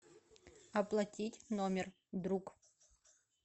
оплатить номер друг